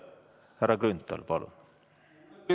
Härra Grünthal, palun!